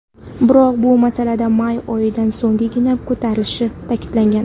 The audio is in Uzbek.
Biroq bu masala may oyidan so‘nggina ko‘tarilishini ta’kidlagan.